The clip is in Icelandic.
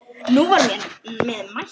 Nú var mér að mæta!